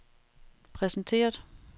præsenteret